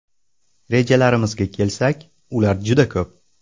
Rejalarimizga kelsak, ular juda ko‘p.